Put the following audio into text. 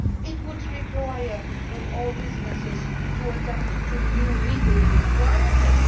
It would require all businesses to adapt to new legal requirements.